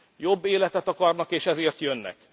Jobb életet akarnak, és ezért jönnek.